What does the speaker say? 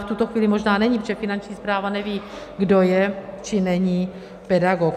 V tuto chvíli možná není, protože Finanční správa neví, kdo je či není pedagog.